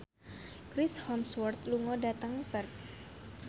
Chris Hemsworth lunga dhateng Perth